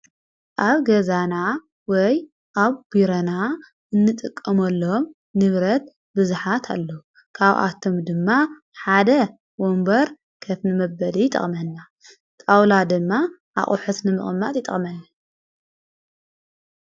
ኣብ ገዛና ወይ ኣብ ጕረቤትና እንጥቀም ሎም ንብረት ብዝኃት ኣለዉ ካውኣቶም ድማ ሓደ ወንበር ከትኒ መበደ ይጠቕመና ጣውላ ድማ ኣቝሕትኒ መቕማጥ ይጠቕመና።